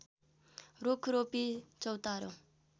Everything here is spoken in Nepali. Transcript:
रूख रोपी चौतारो